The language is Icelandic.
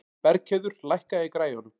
Bergheiður, lækkaðu í græjunum.